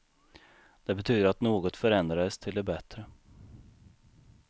Det betydde att något förändrades till det bättre.